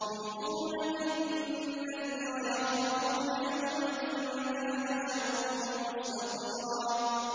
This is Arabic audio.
يُوفُونَ بِالنَّذْرِ وَيَخَافُونَ يَوْمًا كَانَ شَرُّهُ مُسْتَطِيرًا